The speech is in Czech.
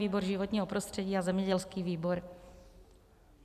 Výbor životního prostředí a zemědělský výbor.